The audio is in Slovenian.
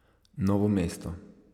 Novo mesto.